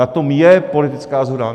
Na tom je politická shoda.